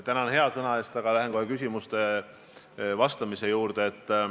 Tänan hea sõna eest, aga lähen kohe küsimustele vastamise juurde.